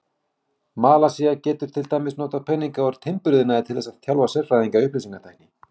Malasía getur til dæmis notað peninga úr timburiðnaði til þess að þjálfa sérfræðinga í upplýsingatækni.